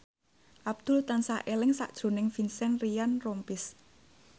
Abdul tansah eling sakjroning Vincent Ryan Rompies